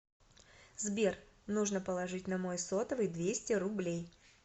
сбер нужно положить на мой сотовый двести рублей